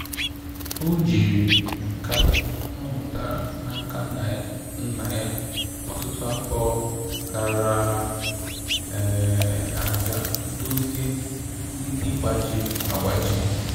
O jiri nka ọ mụtara na aka nna nna ya ọtụtụ afọ gara aga dozie mgbidi gbajiri agbaji